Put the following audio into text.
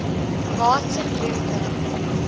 martin luther